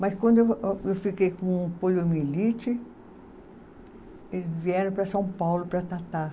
Mas quando eu a, eu fiquei com o poliomielite, eles vieram para São Paulo para tratar.